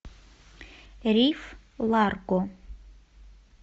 риф ларго